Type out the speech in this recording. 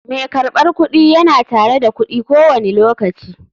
Mai karbar kudi yana tare da kudi ko wani lokaci.